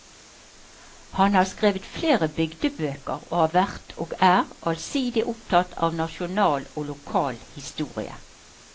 Han har skrevet flere bygdebøker, og har vært og er allsidig opptatt av nasjonal og lokal historie.